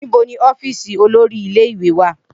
Nibo ni ọfiisi olori ile-iwe wa?